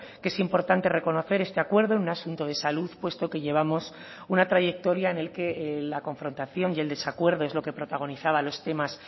que es importante reconocer este acuerdo en un asunto de salud puesto que llevamos una trayectoria en el que la confrontación y el desacuerdo es lo que protagonizaba los temas